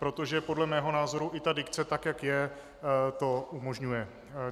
Protože podle mého názoru i ta dikce, tak jak je, to umožňuje.